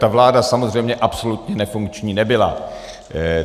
Ta vláda samozřejmě absolutně nefunkční nebyla.